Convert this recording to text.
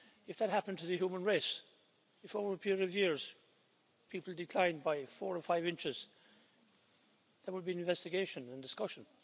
If that happened to the human race, if over a period of years people declined by four or five inches, there would be an investigation and discussion.